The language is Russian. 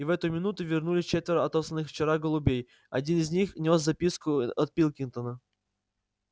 и в эту минуту вернулись четверо отосланных вчера голубей один из них нёс записку от пилкингтона